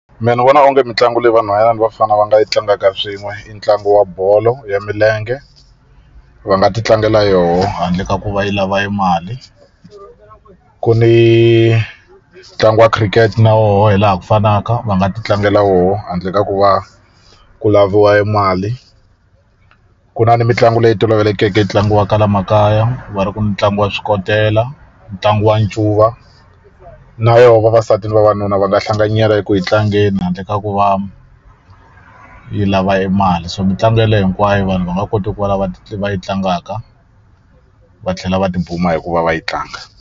Mina ni vona onge mitlangu leyi vanhwanyana ni vafana va nga yi tlangaka swin'we i ntlangu wa bolo ya milenge va nga ti tlangela yona handle ka ku va yi lava yi mali ku ni ntlangu wa khirikete na woho hi laha ku fanaka va nga ti tlangela wo handle ka ku va ku laviwa yi mali ku na ni mitlangu leyi tolovelekeke ntlangu wa kwala makaya va ri ku ni mitlangu ya swikotela ntlangu wa ncuva na yoho vavasati ni vavanuna va nga hlanganyela eku yi tlangeni handle ka ku va yi lava mali so mitlangu yeleye hinkwayo vanhu va nga kota ku va lava yi tlangaka va tlhela va tibuma hikuva va yi tlanga.